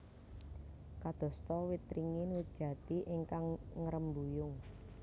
Kadosta wit ringin wit jati ingkang ngrembuyung